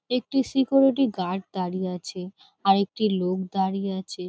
একটি security guard দাঁড়িয়ে আছে। আরেকটি লোক দাঁড়িয়ে আছে।